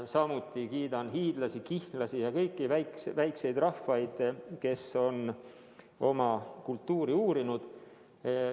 Samuti kiidan hiidlasi, kihnlasi, kõiki väikseid rahvaid, kes on oma kultuuri uurinud.